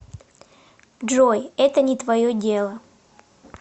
джой это не твое дело